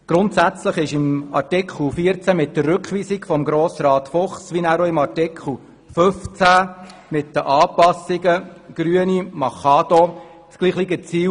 Grundsätzlich haben der Rückweisungsantrag Fuchs zu Artikel 14 und der Antrag Grüne Machado zu Artikel 15 dasselbe Ziel: